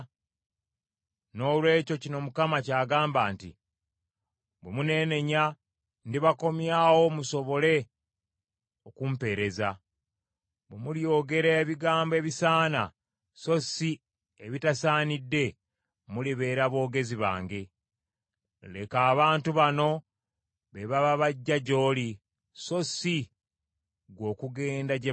Noolwekyo kino Mukama ky’agamba nti, “Bwe muneenenya, ndibakomyawo musobole okumpeereza; bwe mulyogera ebigambo ebisaana so si ebitasaanidde, mulibeera boogezi bange. Leka abantu bano be baba bajja gy’oli, so si ggwe okugenda gye bali.